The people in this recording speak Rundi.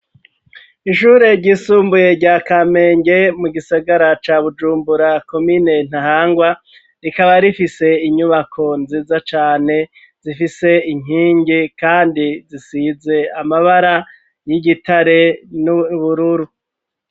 Ishure ryisumbuye rya Kamenge, mu gisagara ca Bujumbura, komine Ntahangwa, rikaba rifise inyubako nziza cane zifise inkingi kandi zisize amabara y'igitare n'ubururu.